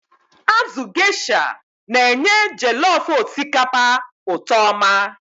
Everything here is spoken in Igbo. Azụ Gaysha na-enye jellof osikapa ụtọ oma.